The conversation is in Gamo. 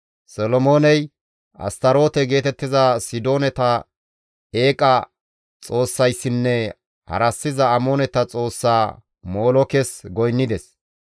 Solomooney Astaroote geetettiza Sidoonata eeqa xoossayssinne harassiza Amooneta xoossaa Molookes goynnides.